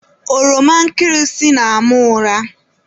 Ọroma nkịrịsị na-ama ụra.